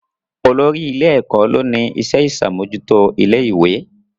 Olórí ilé-ẹ̀kọ́ ló ni iṣẹ́ ìṣàmójútó ilé ìwé